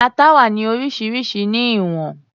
Ata wà ní oríṣiríṣi ní ìwọ̀n